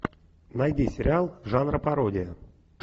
найди сериал жанра пародия